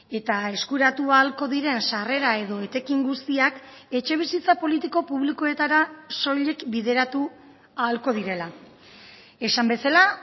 eta eskuratu ahalko diren sarrera edo etekin guztiak etxebizitza politiko publikoetara soilik bideratu ahalko direla esan bezala